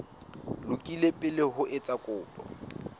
lokile pele o etsa kopo